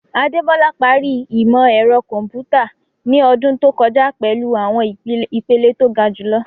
Adebola parí ìmọ̀ ẹ̀rọ kọ̀m̀pútà ní ọdún tó kọjá pẹ̀lú àwọn ìpele tó ga jùlọ.